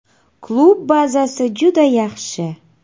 Klub bazasi juda yaxshi.